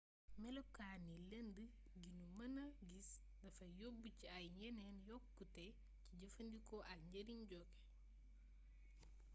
melokaani lënd gi nu mëna gis dafay yóbb ci ay yeneen yokkute ci jëfandikoo ak njëriñ joge